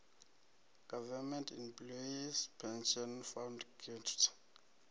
government employees pension fund gepf